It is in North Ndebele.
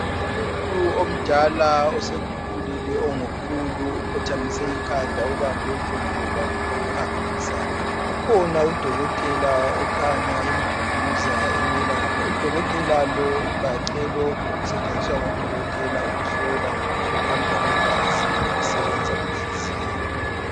Umuntu omdala osekhulile ongu khulu ukhothamise ikhanda ubambe udondolo lwakhe lokuhambisa, ukhona udokotela okhanya emduduza emelapha , udokotela lowu ugaxe lokhu okusetshenziswa ngodokotela ukuhlola ukuhamba kwegazi lokusebenza kwenhliziyo.